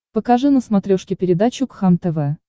покажи на смотрешке передачу кхлм тв